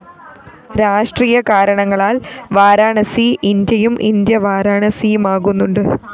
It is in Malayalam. രാഷ്ട്രീയ കാരണങ്ങളാല്‍ വാരാണസി ഇന്ത്യയും ഇന്ത്യ വാരാണസിയുമാകുന്നുണ്ട്